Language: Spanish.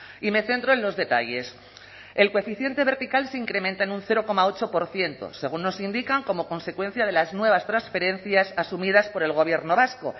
y me centro en los detalles el coeficiente vertical se incrementa en un cero coma ocho por ciento según nos indican como consecuencia de las nuevas transferencias asumidas por el gobierno vasco